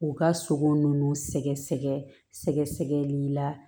U ka sogo nunnu sɛgɛsɛgɛli la